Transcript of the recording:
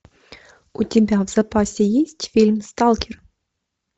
у тебя в запасе есть фильм сталкер